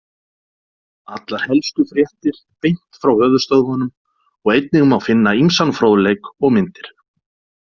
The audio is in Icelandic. Allar helstu fréttir beint frá höfuðstöðvunum og einnig má finna ýmsan fróðleik og myndir.